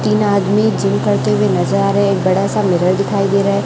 तीन आदमी जिम करते हुए नजर आ रहे एक बड़ा सा मिरर दिखाई दे रहा है।